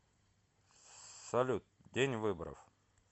салют день выборов